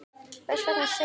Hvers vegna segi ég það?